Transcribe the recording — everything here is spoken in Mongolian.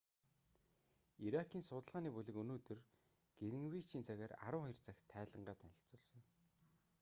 иракийн судалгааны бүлэг өнөөдөр гринвичийн цагаар 12:00 цагт тайлангаа танилцуулсан